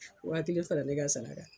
Waakelen fara ne ka sara ka sara.